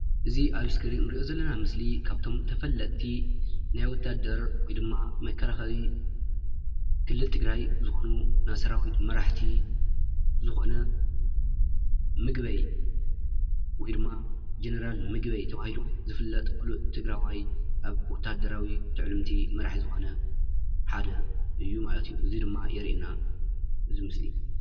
እዚ ኣብ እስክሪን እንርኦ ዘለና ምስሊ ካብቶም ተፈለጢ ናይ ወታደር ወይ ድማ መከላከሊ ክልል ትግራይ ዝኮኑ ናይ ሰራዊት መራሕቲ ዝኮነ ምግበይ ወይ ድማ ጀነራል ምግበይ ተባሂሉ ዝፍለጥ ፍሉጥ ትግራዋይ ኣብ ወታደራዊ ትዕልምቲ መራሒ ዝኮነ ሓደ ማለት እዩ እዚ ድማ የርእየና እቲ ምስሊ።